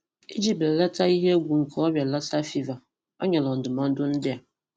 Ịji belata ihe egwu nke ọrịa Lassa fever, ó nyere ndụmọdụ ndị a: